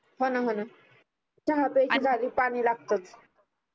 होना होना चहा प्याच्या जागी पानी लागतच